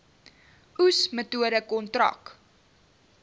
oes metode kontrak